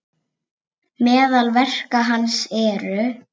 Meðal verka hans eru